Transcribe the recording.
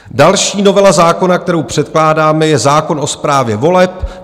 Další novela zákona, kterou předkládáme, je zákon o správě voleb.